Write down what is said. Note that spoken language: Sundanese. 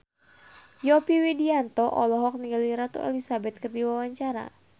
Yovie Widianto olohok ningali Ratu Elizabeth keur diwawancara